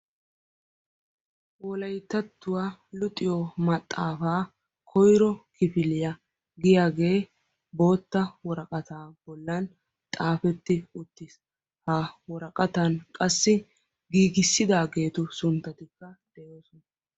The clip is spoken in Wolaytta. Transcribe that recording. Wolayttatuwa luxiyo maxaafa koyro kifiliya giyaage bootta woraqata bollan xaafeti uttiis. Ha woraqatan qassi Giigissidaageetu sunttatika de'oososna